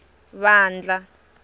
vandla